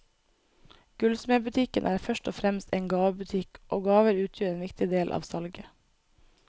Gullsmedbutikken er først og fremst en gavebutikk, og gaver utgjør en viktig del av salget.